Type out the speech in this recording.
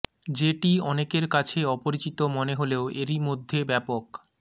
যেটি অনেকের কাছে অপরিচিত মনে হলেও এরই মধ্যে ব্যাপক